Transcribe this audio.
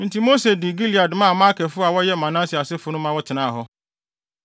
Enti Mose de Gilead maa Makirfo a wɔyɛ Manase asefo no, ma wɔtenaa hɔ.